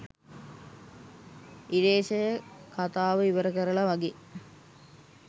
ඉරේශය කතාව ඉවරකරලා වගේ